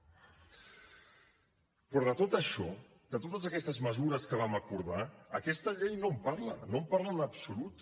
però de tot això de totes aquestes mesures que vam acordar aquesta llei no en parla no en parla en absolut